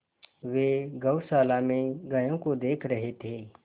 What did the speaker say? वे गौशाला में गायों को देख रहे थे